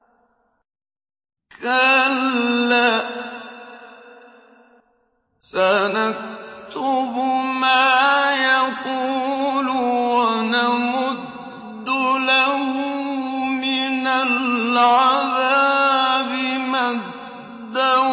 كَلَّا ۚ سَنَكْتُبُ مَا يَقُولُ وَنَمُدُّ لَهُ مِنَ الْعَذَابِ مَدًّا